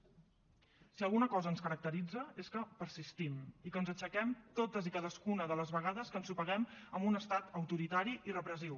si alguna cosa ens caracteritza és que persistim i que ens aixequem totes i cadascuna de les vegades que ensopeguem amb un estat autoritari i repressiu